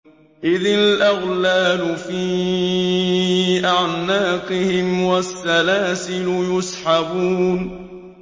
إِذِ الْأَغْلَالُ فِي أَعْنَاقِهِمْ وَالسَّلَاسِلُ يُسْحَبُونَ